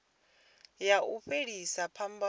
ya u fhelisa phambano i